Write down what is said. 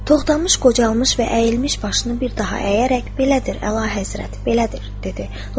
Toxtamış qocalmış və əyilmiş başını bir daha əyərək belədir, Əlahəzrət, belədir, dedi.